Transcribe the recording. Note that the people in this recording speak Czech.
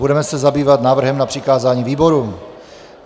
Budeme se zabývat návrhem na přikázání výborům.